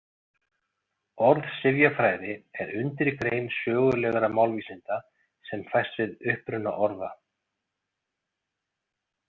Orðsifjafræði er undirgrein sögulegra málvísinda sem fæst við uppruna orða.